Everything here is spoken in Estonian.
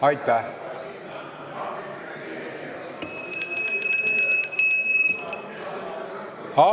Aitäh!